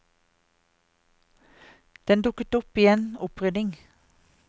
Den dukket opp i en opprydning.